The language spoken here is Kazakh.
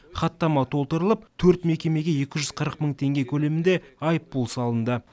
хаттама толтырылып төрт мекемеге екі жүз қырық мың теңге көлемінде айыппұл салынды